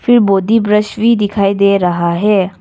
बोडी brush भी दिखाई दे रहा है।